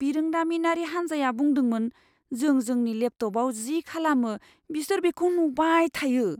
बिरोंदामिनारि हान्जाया बुंदोंमोन जों जोंनि लेपटपआव जि खालामो बिसोर बेखौ नुबाय थायो।